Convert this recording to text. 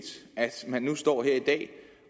at man nu står her i dag